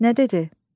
Nə dedi?